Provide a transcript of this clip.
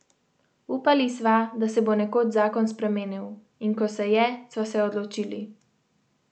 Upali sva, da se bo nekoč zakon spremenil, in ko se je, sva se odločili.